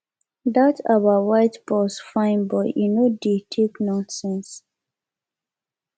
dat our white boss fine but e no dey take nonsense